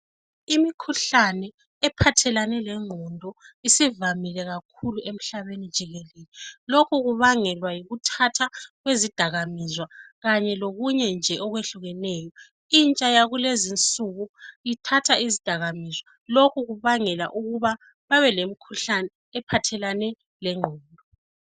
Imikhuhlane ephathelane lengqondo isivamile kakhulu emhlabeni jikelele. Lokhu kubangelwa yikuthatha kwezidakamizwa kanye lokunye nje okwehlukeneyo. Intsha yakulezi insuku ithatha izidakamizwa, lokhu kubangela ukuthi babe lomkhuhlane ophathelane lengqondo.